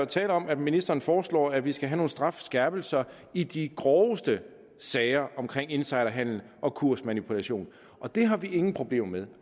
tale om at ministeren foreslår at vi skal have nogle strafskærpelser i de groveste sager omkring insiderhandel og kursmanipulation og det har vi ingen problemer med